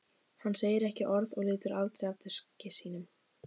Hann segir ekki orð og lítur aldrei af diski sínum.